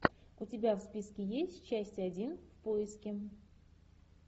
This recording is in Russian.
у тебя в списке есть часть один в поиске